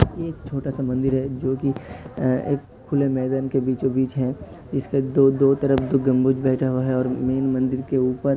एक छोटा सा मंदिर है जोकि एक खुले मैदान के बीचो बीच है। इसके दो दो तरफ दो गम्बुज बैठा हुआ है और मैंन मंदिर के ऊपर --